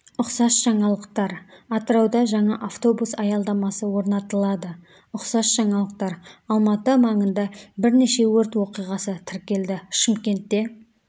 ұқсас жаңалықтар атырауда жаңа автобус аялдамасы орнатылады ұқсас жаңалықтар алматы маңында бірнеше өрт оқиғасы тіркелді шымкентте